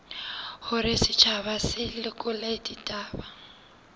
hore setjhaba se lekole ditaba